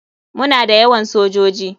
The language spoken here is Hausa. Muna da yawan soji.